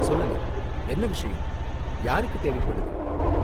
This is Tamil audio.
சொல்லுங்க, என்ன விஷயம்? யாருக்கு தேவைப்படுது?